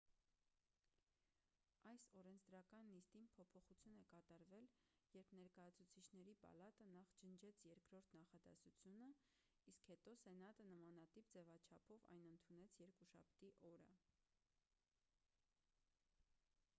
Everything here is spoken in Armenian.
այս օրենսդրական նիստին փոփոխություն է կատարվել երբ ներկայացուցիչների պալատը նախ ջնջեց երկրորդ նախադասությունը իսկ հետո սենատը նամանտիպ ձևաչափով այն ընդունեց երկուշաբթի օրը